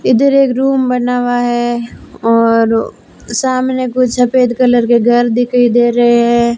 इधर एक रूम बना हुआ है और सामने कुछ सफेद कलर के घर दिखई दे रहे है।